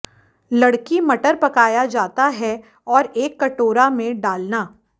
लड़की मटर पकाया जाता है और एक कटोरा में डालना